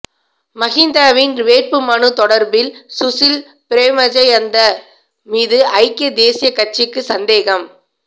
மஹிந்தவின் வேட்புமனு தொடர்பில் சுசில் பிரேமஜயந்த மீது ஐக்கிய தேசியக் கட்சிக்கு சந்தேகம்